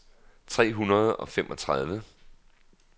tre hundrede og femogtredive